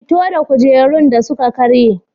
Fito da kujerun da suka karye.